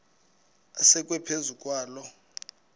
asekwe phezu kwaloo